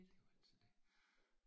Det er jo altid det